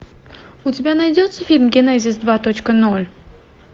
у тебя найдется фильм генезис два точка ноль